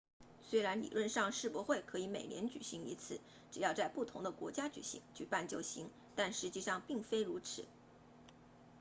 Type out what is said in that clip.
虽然理论上世博会可以每年举行一次只要在不同的国家举办就行但实际上并非如此